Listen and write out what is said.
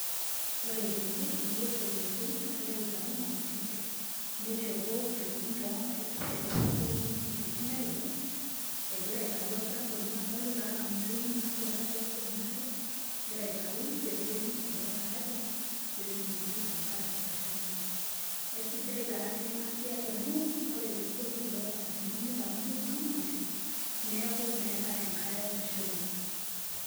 Ore tene etii eselenkei nagira aitayu mautik neishopo ntokitin too nkaik ,pemepuo moyiaritin aibung amu adolita anaa motonyik natuata tiatua enaare egira aitayu peeboli ele taraja pee etumoki enkare ashomo. Aisidai taa pi ena siai amu ore peboli kulo tarajani nitayuni kuna mautik neeku meetae enkare nashuma.